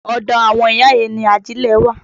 Ọ̀dọ àwọn ìyá yẹn ni ajílẹ̀ wà.